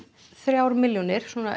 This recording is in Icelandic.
þrjár milljónir